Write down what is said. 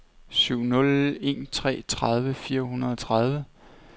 syv nul en tre tredive fire hundrede og tredive